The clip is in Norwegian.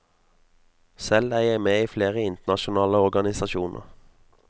Selv er jeg med i flere internasjonale organisasjoner.